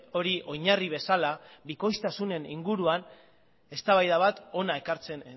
hori oinarri bezala bikoiztasunen inguruan eztabaida bat hona ekartze